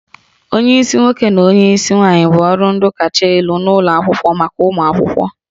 Onyeisi nwoke na onyeisi nwaanyị bụ ọrụ ndu kacha elu n'ụlọ akwụkwọ maka ụmụ akwụkwọ